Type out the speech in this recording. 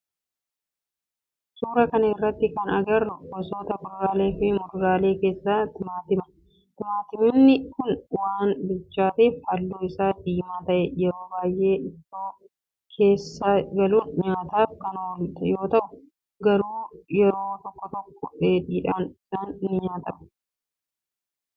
Suuraa kana irratti kana agarru gosoota kuduralee fi muduraalee keessaa timaatima. Timaatimni kun waan bilchaatef halluu isaa diimaa ta'e. Yeroo baayyee ittoo keessa galuun nyaataf kan oolu yoo ta'u, garuu yeroo tokko tokko dheedhiin isaas ni nyaatama.